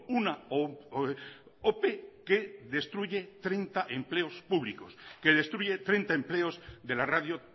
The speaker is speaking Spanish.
una ope que destruye treinta empleos públicos que destruye treinta empleos de la radio